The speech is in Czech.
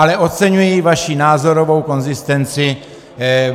Ale oceňuji vaši názorovou konzistenci.